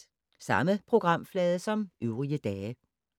Samme programflade som øvrige dage